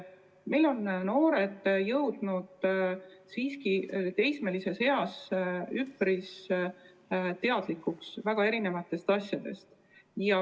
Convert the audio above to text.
Meie noored on teismeeas üpris teadlikud väga erinevatest asjadest.